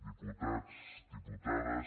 diputats diputades